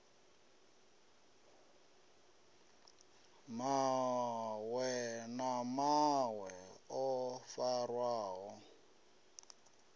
mawe na mawe o farwaho